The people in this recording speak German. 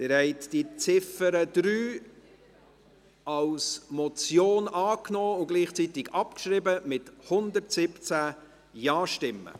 Sie haben die Ziffer 3 als Motion angenommen und gleichzeitig abgeschrieben, mit 117 JaStimmen.